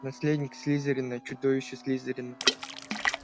наследник слизерина чудовище слизерина